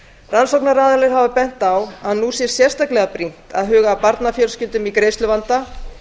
rannsóknaraðilar hafa bent á að nú sé sérstaklega brýnt að huga að barnafjölskyldum í greiðsluvanda